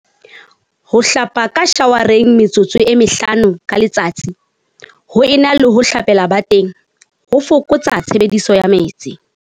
Ho hlapa ka shawareng metsotso e mehlano ka letsatsi ho e na le ho hlapela bateng ho foko tsa tshebediso ya metsi.